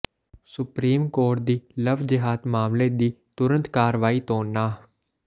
supreme court ਦੀ love ਜੇਹਾਦ ਮਾਮਲੇ ਦੀ ਤੁਰੰਤ ਕਾਰਵਾਈ ਤੋਂ ਨਾਂਹ